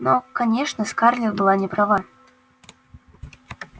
но конечно скарлетт была не права